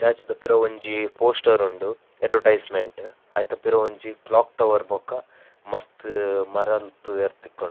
Statue ದ ಪಿರವೊಂಜಿ poster ಉಂಡು ಅಡ್ವರ್ಟೈಸ್ಮೆಂಟ್ ಐತ ಪಿರವು ಒಂಜಿ ಕ್ಲೋಕ್ ಟವರ್ ಬೊಕ್ಕ ಮಸ್ತ್ ಮರ ತೂವರೆ ತಿಕ್ಕುಂಡು.